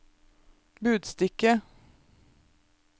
budstikke